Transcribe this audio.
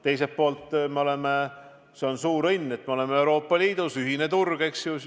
Teiselt poolt on suur õnn, et me oleme Euroopa Liidus – ühine turg, eks ole.